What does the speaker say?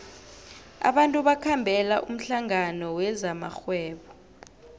abantu bakhambela umhlangano wezamarhwebo